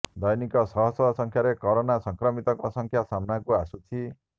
ଦୈନିକ ଶହଶହ ସଂଖ୍ୟାରେ କୋରୋନା ସଂକ୍ରମିତଙ୍କ ସଂଖ୍ୟା ସାମ୍ନାକୁ ଆସୁଛି